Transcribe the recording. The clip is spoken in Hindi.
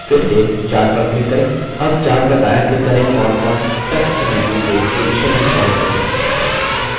अब chart पर दायाँclick करें और context menu से position and size चुनें